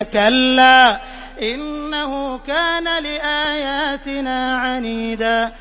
كَلَّا ۖ إِنَّهُ كَانَ لِآيَاتِنَا عَنِيدًا